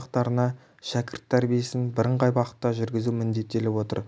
ошақтарына шәкірт тәрбиесін бірыңғай бағытта жүргізу міндеттеліп отыр